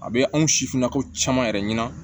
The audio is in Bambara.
A bɛ anw sifinnakaw caman yɛrɛ ɲɛna